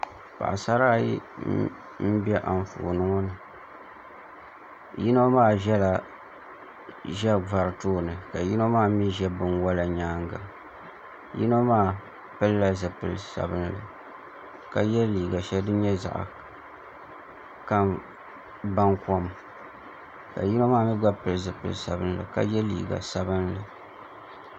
Paɣasara ayi n ʒɛ Anfooni ŋo ni yino maa ʒɛla ʒɛvari tooni ka yino maa mii ʒɛ binwola nyaanga yino maa pilila zipili sabinli ka yɛ liiga shɛli din nyɛ baŋkom ka yino maa mii gba pili zipili sabinli ka yɛ liiga sabinli